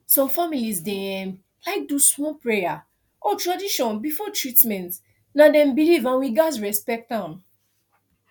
some families dey um like do small prayer or tradition before treatment na dem belief and we gats respect am